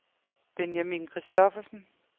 Benjamin Christoffersen